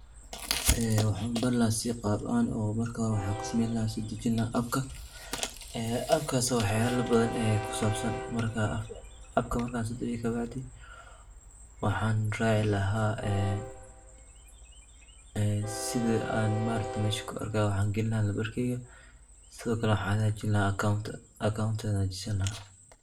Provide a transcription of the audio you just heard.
Ee waxan ubari laha si qab ahan, marka hore waxan kusameeyn lahaa oo dejin lahaa Appka, ee appkas oo waxala badan kusabsan, Appkas markan soo dejiyo kabacdi waxan racaa laha en sidi an mesha kuarka waxan gelini lahaa nambarkeyga sidokale waxan hagajin lahaa accounnt, account an hagajisani lahaa